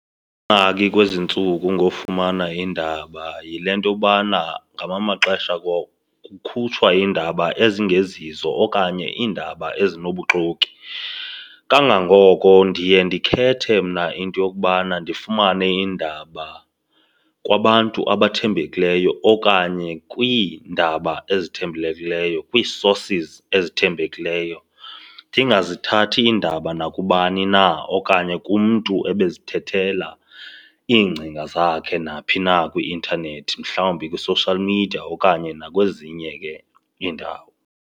kwezi ntsuku ngofumana iindaba yile nto yobana ngamanye amaxesha kukhutshwa iindaba ezingezizo okanye iindaba ezinobuxoki. Kangangoko ndiye ndikhethe mna into yokubana ndifumane iindaba kwabantu abathembekileyo okanye kwiindaba ezithembekileyo, kwii-sources ezithembekileyo. Ndingazithathi iindaba nakubani na okanye kumntu ebezithethela iingcinga zakhe naphi na kwi-intanethi, mhlawumbi kwi-social media okanye nakwezinye ke iindawo.